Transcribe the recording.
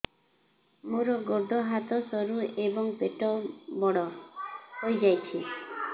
ମୋର ଗୋଡ ହାତ ସରୁ ଏବଂ ପେଟ ବଡ଼ ହୋଇଯାଇଛି